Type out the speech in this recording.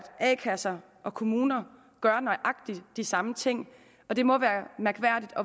kasser og kommuner gør nøjagtig de samme ting og det må